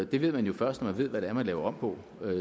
det ved man jo først når man ved hvad det er man laver om på